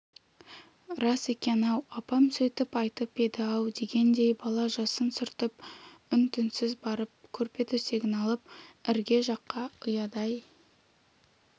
рас екен-ау апам сөйтіп айтып еді-ау дегендей бала жасын сүртіп үн-түнсіз барып көрпе-төсегін алып ірге жаққа ұядай